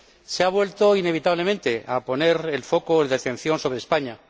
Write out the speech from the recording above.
Se ha vuelto, inevitablemente, a poner el foco de atención sobre España.